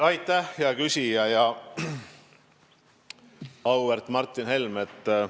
Aitäh, hea küsija, auväärt Martin Helme!